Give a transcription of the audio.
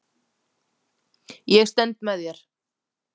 Ég stend með þér.